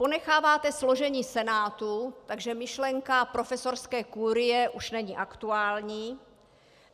Ponecháváte složení senátu, takže myšlenka profesorské kurie už není aktuální.